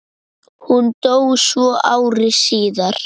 Hún dó svo ári síðar.